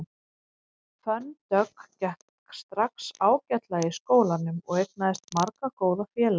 Fönn Dögg gekk strax ágætlega í skólanum og eignaðist marga góða félaga.